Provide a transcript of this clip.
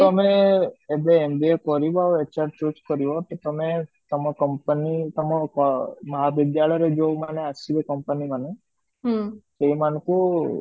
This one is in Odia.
ତମେ ଏବେ MBA କରିବ ଆଉ HR choose କରିବ ତ ତମେ ତମ company ତମ ଆଁ ମହାବିଦ୍ୟାଳୟ ରେ ଯୋଉ ମାନେ ଆସିବେ company ମାନେ ସେ ମାନଙ୍କୁ